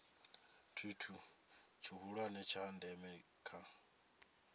tshithu tshihulwane tsha ndeme kha